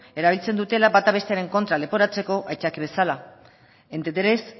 erabiltzen dutela bata bestearen kontra leporatzeko aitzakia bezala